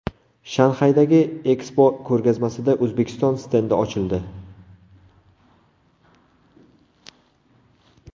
Shanxaydagi Expo ko‘rgazmasida O‘zbekiston stendi ochildi.